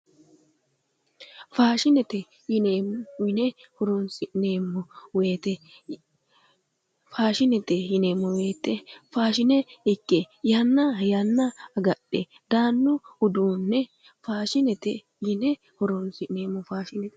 Faashinete yine horonsi'neemmo wote faashinete yineemmo wote faashine ikke yanna yanna agadhe daanno uduunne faashinete yine woshshinanni.